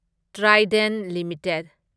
Trident limited